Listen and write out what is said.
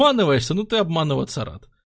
обманываешься ну ты обманываться рад